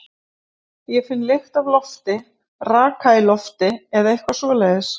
Ég finn lykt af lofti, raka í lofti eða eitthvað svoleiðis.